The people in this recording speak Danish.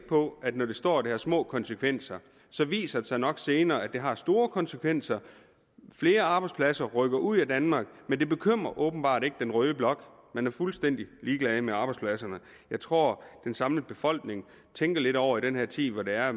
på at når der står at det har så små konsekvenser så viser det sig nok senere at det har store konsekvenser flere arbejdspladser rykker ud af danmark men det bekymrer åbenbart ikke den røde blok man er fuldstændig ligeglad med arbejdspladserne jeg tror at den samlede befolkning tænker lidt over i den her tid hvor der er